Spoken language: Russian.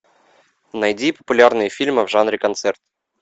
найди популярные фильмы в жанре концерт